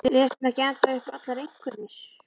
Les hann ekki ennþá upp allar einkunnir?